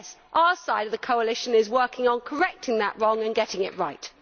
And yes, our side of the coalition is working on correcting that wrong and getting it right.